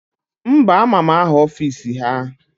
Mba, ama m aha ọfisi ha